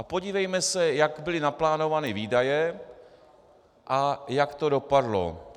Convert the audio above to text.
A podívejme se, jak byly naplánovány výdaje a jak to dopadlo.